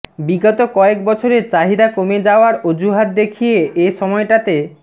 বিগত কয়েক বছরে চাহিদা কমে যাওয়ার অজুহাত দেখিয়ে এ সময়টাতে